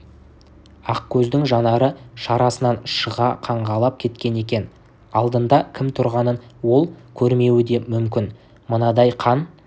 ақкөздің жанары шарасынан шыға қаңғалап кеткен екен алдында кім тұрғанын ол көрмеуі де мүмкін мынандай қан